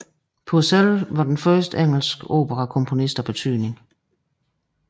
Purcell var den første engelske operakomponist af betydning